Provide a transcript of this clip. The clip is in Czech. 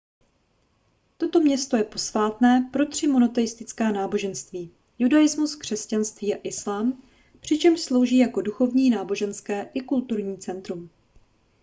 toto město je posvátné pro tři monoteistická náboženství judaismus křesťanství a islám přičemž slouží jako duchovní náboženské i kulturní centrum